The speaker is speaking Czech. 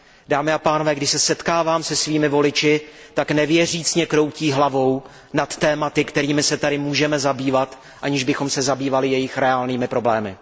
Dámy a pánové, když se setkávám se svými voliči, tak nevěřícně kroutí hlavou nad tématy, kterými se tady můžeme zabývat, aniž bychom se zabývali jejich reálnými problémy.